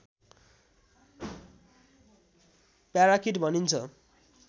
parakeet भनिन्छ